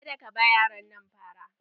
Ka da ka ba yaron nan fara!